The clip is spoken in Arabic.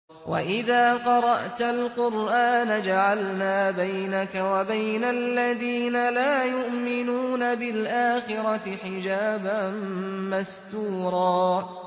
وَإِذَا قَرَأْتَ الْقُرْآنَ جَعَلْنَا بَيْنَكَ وَبَيْنَ الَّذِينَ لَا يُؤْمِنُونَ بِالْآخِرَةِ حِجَابًا مَّسْتُورًا